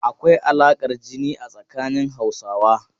Akwai alaƙar jini a tsanin Hausawa.